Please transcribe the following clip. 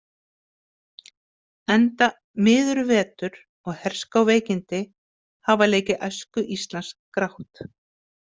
Enda miður vetur og herská veikindi hafa leikið æsku Íslands grátt.